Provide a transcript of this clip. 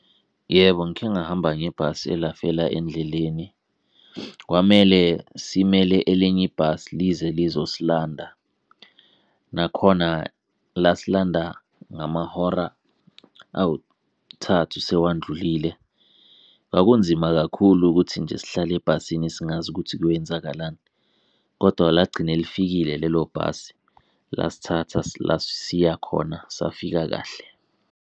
Yebo, ngike ngahamba ngebhasi elafela endleleni kwamele simele elinye ibhasi lize lizosilanda. Nakhona lasilanda ngamahora awuthathu sewandlulile. Kwakunzima kakhulu ukuthi nje sihlale ebhasini singazi ukuthi kuyowenzakalani, kodwa lagcine lifikile lelo bhasi lasithatha la siyakhona safika kahle.